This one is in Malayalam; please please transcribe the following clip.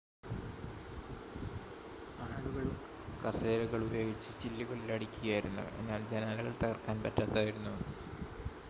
ആളുകൾ കസേരകൾ ഉപയോഗിച്ച് ചില്ലുകളിൽ അടിക്കുകയായിരുന്നു എന്നാൽ ജനാലകൾ തകർക്കാൻ പറ്റാത്തതായിരുന്നു